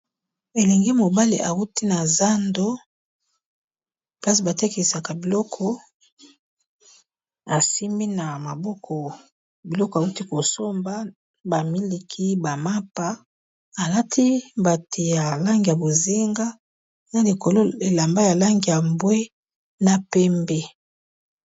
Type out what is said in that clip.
Elenge mobali awuti na zando place ba tekisaka biloko asimbi na maboko biloko awuti kosomba. Ba miliki, ba mapa, alati mbati ya langi ya bozinga na likolo elamba ya langi ya mbwe na pembe.